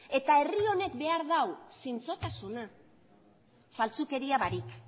eta herri honek behar du zintzotasuna faltsukeria barik